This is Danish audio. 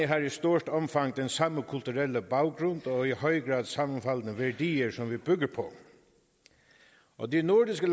har i stort omfang den samme kulturelle baggrund og i høj grad sammenfaldende værdier som vi bygger på og de nordiske